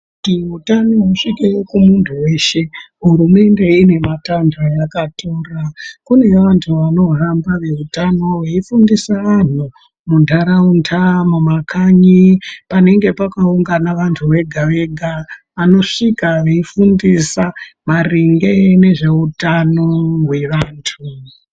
Kuti utano husvike kumuntu weshe hurumende inematanho ayakatora kune vantu vanohamba veutano veifundise vantu muntaraunda mumakanyi panenge pakaungana vantu vega vega vanosvika veifundisa maringe nezveutano hwevantu .